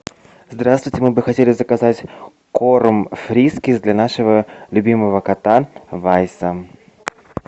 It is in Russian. здравствуйте мы бы хотели заказать корм фрискис для нашего любимого кота вайса